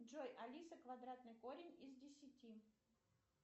джой алиса квадратный корень из десяти